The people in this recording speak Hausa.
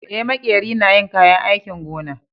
Eh, makeri na yin kayan aikin gona.